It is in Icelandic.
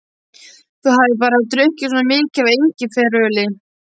Þú hafir bara drukkið svona mikið af engiferöli.